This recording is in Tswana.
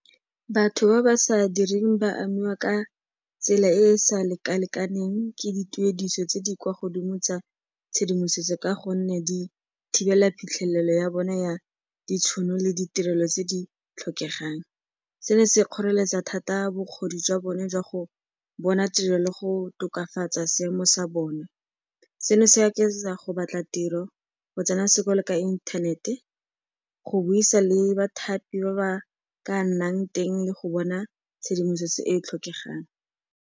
Batho ba ba sa direng ba amiwa ka tsela e e sa lekalekaneng ke dituediso tse di kwa godimo tsa tshedimosetso ka gonne di thibela phitlhelelo ya bona ya ditšhono le ditirelo tse di tlhokegang. Seno se kgoreletsa thata bokgoni jwa bone jwa go bona tiro le go tokafatsa seemo sa bona. Seno se akaretsa go batla tiro, go tsena sekolo ka inthanete, go buisana le bathapi ba ba ka nnang teng le go bona tshedimosetso e e tlhokegang.